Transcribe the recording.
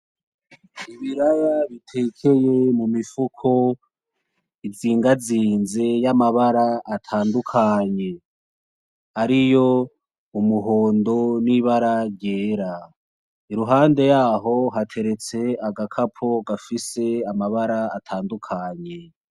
Ibiraya bitekeye mu mifuko izingazinze y'amabara atandukanye ariyo umuhondo, n'ibara ryera, Iruhande yaho hateretse agakapo gafise amabara atandukanye.